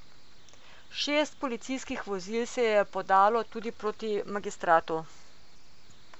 Šest policijskih vozil se je podalo tudi proti Magistratu.